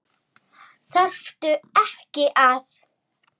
Þarftu ekki að.?